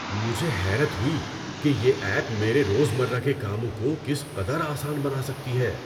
مجھے حیرت ہوئی کہ یہ ایپ میرے روزمرہ کے کاموں کو کس قدر آسان بنا سکتی ہے۔